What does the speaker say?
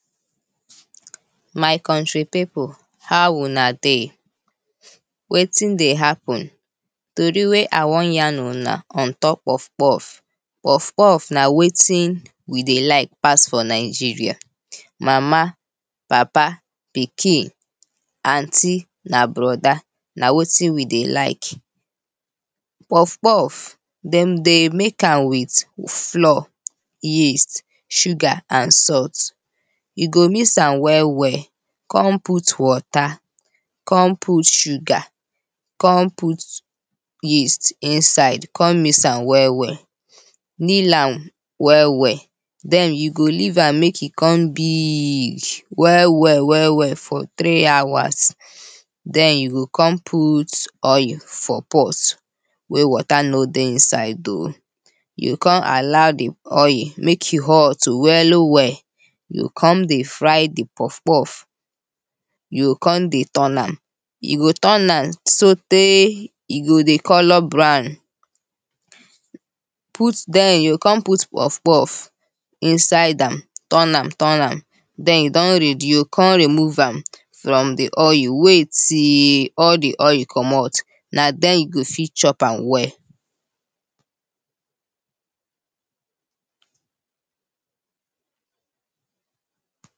My country pipu how una dey, wetin dey happen, tory wey I wan yan una ontop puff puff. Puff puff na wetin we dey like pass for Nigeria, mama, papa, pikin, aunty and brother na wetin we dey like. Puff puff, dem dey make am with flour, yeast, sugar and salt you go miss am well well, kon put water, kon put sugar, kon put yeast inside kon miss am well well, knead am well well den you go leave am make e kon big well well well well for three hours den you go kon put oil for pot wey water no dey inside oh, you go kon allow di oil make e hot well well, you go kon dey fry di puff puff, you go kon dey turn am you go turn am sotey e go dey colour brown, put den, den you go kon put puff puff inside am turn am turn am den e don ready you go kon remove am from di oil, wait till all di oil comot na den you go fit chop am well.